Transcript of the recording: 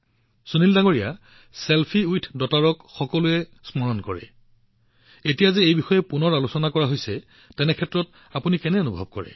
সুনীলজী সকলোৱে selfie with ডটাৰৰ কথা মনত ৰাখিছে এতিয়া পুনৰ আকৌ এবাৰ ইয়াক আলোচনা কৰাৰ সময়ত আপুনি কেনে অনুভৱ কৰিছে